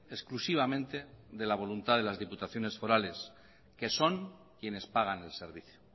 exclusivamente de la voluntad de las diputaciones forales que son quienes pagan el servicio